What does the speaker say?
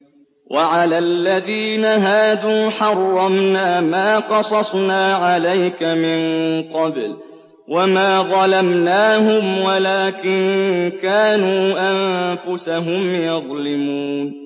وَعَلَى الَّذِينَ هَادُوا حَرَّمْنَا مَا قَصَصْنَا عَلَيْكَ مِن قَبْلُ ۖ وَمَا ظَلَمْنَاهُمْ وَلَٰكِن كَانُوا أَنفُسَهُمْ يَظْلِمُونَ